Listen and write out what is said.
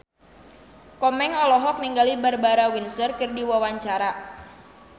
Komeng olohok ningali Barbara Windsor keur diwawancara